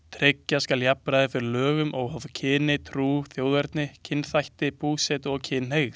Tryggja skal jafnræði fyrir lögum óháð kyni, trú, þjóðerni, kynþætti, búsetu og kynhneigð.